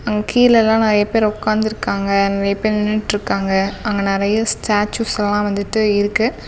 அங்க கீழலா நறைய பேர் உக்காந்துருக்காங்க. நறைய பேர் நின்னுட்டுருக்காங்க அங்க நறைய ஸ்டாச்சூஸ்ஸல்லா வந்துட்டு இருக்கு.